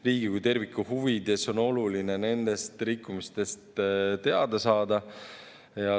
Riigi kui terviku huvides on oluline nendest rikkumistest teada saada.